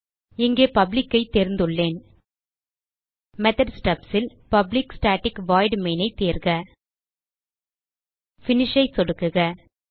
இங்கே publicஐ தேர்ந்துள்ளேன் மெத்தோட் stubsல் பப்ளிக் ஸ்டாட்டிக் வாய்ட் மெயின் ஐ தேர்க Finishஐ சொடுக்குக